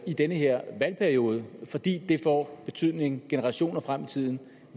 i den her valgperiode fordi det får betydning generationer frem i tiden